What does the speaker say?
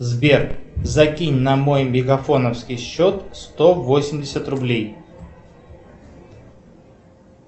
сбер закинь на мой мегафоновский счет сто восемьдесят рублей